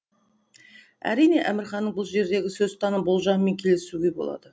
әрине әмірханның бұл жердегі сөзтаным болжамымен келісуге болады